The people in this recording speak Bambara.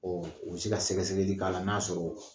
Ɔ u bɛ se ka sɛgɛsɛgɛdi k'a la n'a sɔrɔ